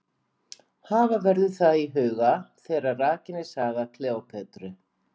Hafa verður það í huga þegar rakin er saga Kleópötru.